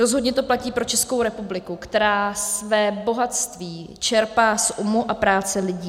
Rozhodně to platí pro Českou republiku, která své bohatství čerpá z umu a práce lidí.